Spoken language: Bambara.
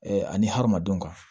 ani hadamadenw kan